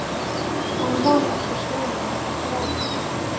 Hann var ekki búinn að sjá hana.